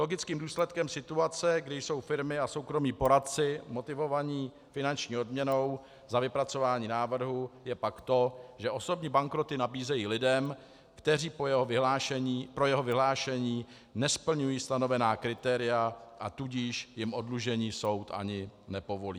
Logickým důsledkem situace, kdy jsou firmy a soukromí poradci motivovaní finanční odměnou za vypracování návrhu, je pak to, že osobní bankroty nabízejí lidem, kteří pro jeho vyhlášení nesplňují stanovená kritéria, a tudíž jim oddlužení soud ani nepovolí.